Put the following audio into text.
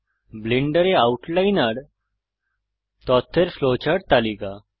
ব্লেন্ডারে আউটলাইনর তথ্যের ফ্লোচার্ট তালিকা